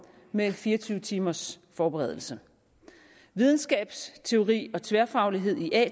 med fire og tyve timers forberedelse videnskabsteori og tværfaglighed i at